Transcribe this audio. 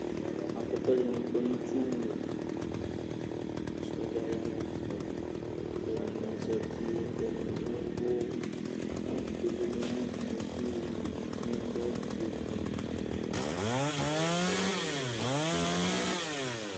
Apɛtɔ dini kɔ nitsuwu, kʋ sɔdza ya nɛfɛKalu ni zati , kɛdini yavʋƐdibi ya natamiduƐdini adʋ awu fue, ɔvɛ, ɔwɛ, umlɔ